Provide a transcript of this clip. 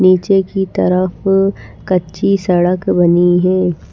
नीचे की तरफ कच्ची सड़क बनी है।